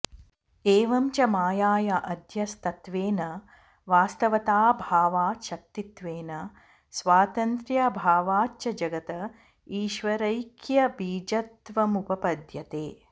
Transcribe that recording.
एवं च मायाया अध्यस्तत्वेन वास्तवताऽभावात् शक्तित्वेन स्वातन्त्र्याभावाच्च जगत ईश्वरैक्यबीजत्वमुपपद्यते